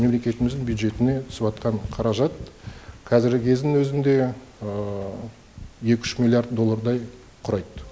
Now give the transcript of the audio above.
мемлекетіміздің бюджетіне түсіп жатқан қаражат қазіргі кездің өзінде екі үш миллиард доллардай құрайды